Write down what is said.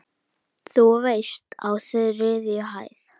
Þú veist- á þriðju hæð.